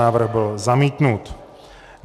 Návrh byl zamítnut.